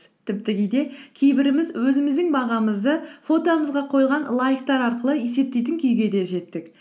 тіпті кейде кейбіріміз өзіміздің бағамызды фотомызға қойған лайктар арқылы есептейтін күйге де жеттік